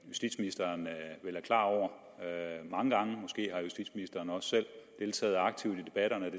justitsministeren vil være klar over mange gange måske har justitsministeren også selv deltaget aktivt i debatterne